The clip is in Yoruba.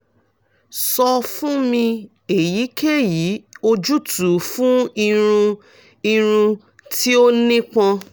sọ fun mi eyikeyi ojutu fun irun irun ti o nipọn